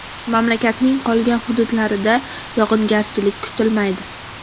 Mamlakatning qolgan hududlarida yog‘ingarchilik kutilmaydi.